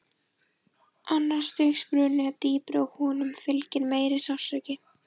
Annars stigs bruni er dýpri og honum fylgir meiri sársauki.